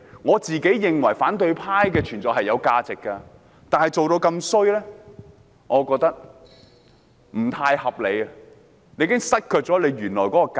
我認為反對派的存在是有其價值的，但他們做得這麼差勁，我覺得已經失卻了原來的價值。